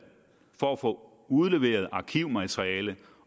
for at få udleveret arkivmateriale